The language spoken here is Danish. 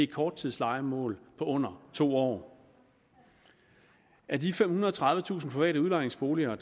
korttidslejemål på under to år af de femhundrede og tredivetusind private udlejningsboliger